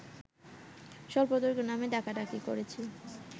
স্বল্পদৈর্ঘ্য নামে ডাকাডাকি করেছি